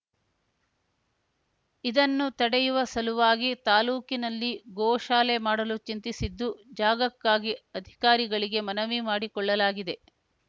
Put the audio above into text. ಇದನ್ನು ತಡೆಯುವ ಸಲುವಾಗಿ ತಾಲೂಕಿನಲ್ಲಿ ಗೋ ಶಾಲೆ ಮಾಡಲು ಚಿಂತಿಸಿದ್ದು ಜಾಗಕ್ಕಾಗಿ ಅಧಿಕಾರಿಗಳಿಗೆ ಮನವಿ ಮಾಡಿಕೊಳ್ಳಲಾಗಿದೆ